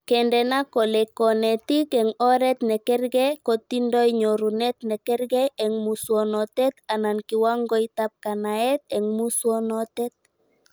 Kendena kole konetik eng oret nekerke kotindoi nyorunet nekerke eng muswonotet anan kiwangoitab kanaet eng muswonotet